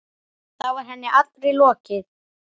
Þá var henni allri lokið.